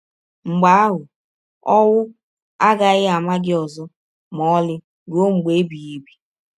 Mgbe ahụ, ọwụ agaghị ama gị ọzọ ma ọlị rụọ mgbe ebighị ebi.